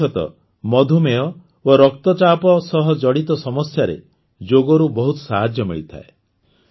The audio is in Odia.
ବିଶେଷତଃ ମଧୁମେହ ଓ ରକ୍ତଚାପ ସହ ଜଡ଼ିତ ସମସ୍ୟାରେ ଯୋଗରୁ ବହୁତ ସାହାଯ୍ୟ ମିଳିଥାଏ